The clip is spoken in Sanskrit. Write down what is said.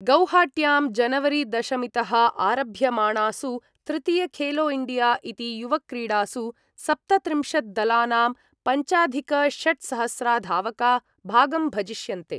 गौहाट्यां जनवरीदशमीतः आरभ्यमाणासु तृतीय खेलोइण्डिया इति युवक्रीडासु सप्तत्रिंशद्दलानां पञ्चाधिकषट्सहस्रधावका भागं भजिष्यन्ते।